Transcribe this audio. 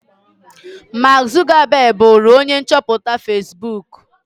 Mark Zuckerberg bụụrụ onye chọpụtara Fesbuk.